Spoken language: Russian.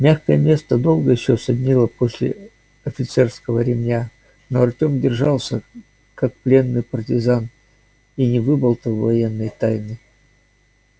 мягкое место долго ещё саднило после офицерского ремня но артем держался как пленный партизан и не выболтал военной тайны